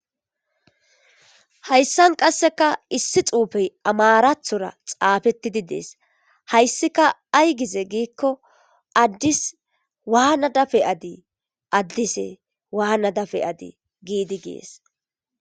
hayssan qasseka issi xuufey amarathora xaafettidi dees hayssika ay gize giikko addis waana dafe adi addise waana dafe adi giidi gies